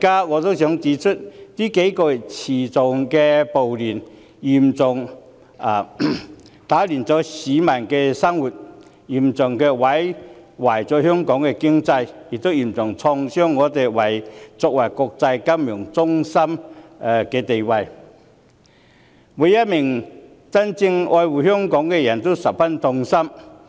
我想指出，這數個月的持續暴亂大大打亂市民的生活，嚴重破壞香港經濟，並且重挫香港作為國際金融中心的地位，每一位真正愛護香港的人都十分痛心。